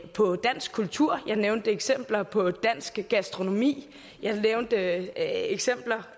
på dansk kultur jeg nævnte eksempler på dansk gastronomi jeg nævnte eksempler